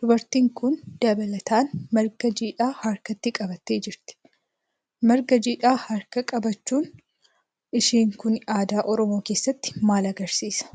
Dubartiin kun dabalataan marga jiidhaa harkatti qabattee jirti. Marga jiidhaa harka qabachuun ishee kun aadaa Oromoo keessatti maal agarsiisaa?